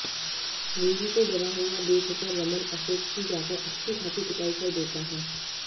रूही को डरा हुआ देखकर रमन अशोक की जाकर अच्छी खासी पिटाई कर देता है